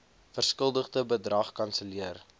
verskuldigde bedrag kanselleer